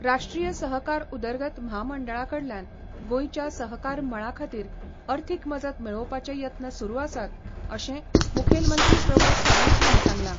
राष्ट्रीय सहकार उदरगत म्हामंडळा कडल्यान गोंयच्या सहकार मळा खातीर अर्थीक मजत मेळोवपाचे यत्न सुरू आसात अशें मुखेलमंत्री प्रमोद सावंत हांणी सांगलां.